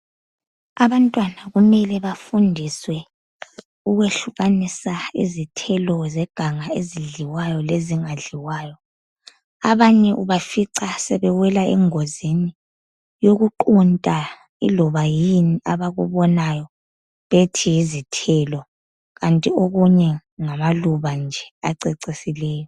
Abantwana kumele bafundiswe ukwehlukanisa izithelo zeganga ezidliwayo lezingadliwayo. Abanye ubafica sebewela engozini yokuqunta iloba yini abakubonayo bethi yizithelo kanti okunye ngamaluba nje acecisileyo.